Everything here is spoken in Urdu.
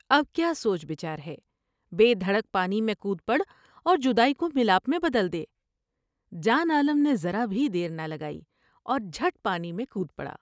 اب کیا سوچ بچار ہے بے دھڑک پانی میں کود پڑا اور جدائی کو ملاپ میں بدل دے '' جان عالم نے ذرا بھی دیر نہ لگائی اور جھٹ پانی میں کود پڑا ۔